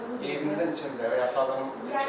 Yaşadığımız yerdə, evinizdə, yaşadığımız yerdə.